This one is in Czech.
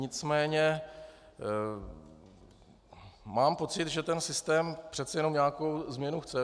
Nicméně mám pocit, že ten systém přece jenom nějakou změnu chce.